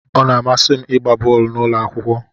Ọ na-amasị m ịgba bọọlụ n'ụlọ akwụkwọ.